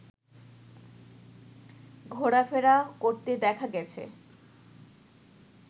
ঘোরাফেরা করতে দেখা গেছে